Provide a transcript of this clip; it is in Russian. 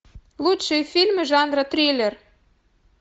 лучшие фильмы жанра триллер